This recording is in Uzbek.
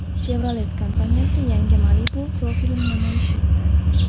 Chevrolet kompaniyasi yangi Malibu profilini namoyish etdi.